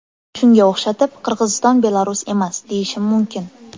Shunga o‘xshatib, Qirg‘iziston Belarus emas, deyishim mumkin.